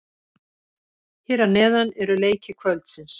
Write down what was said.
Hér að neðan eru leiki kvöldsins.